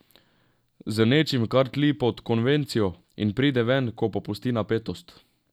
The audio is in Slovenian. Z nečim, kar tli pod konvencijo, in pride ven, ko popusti napetost.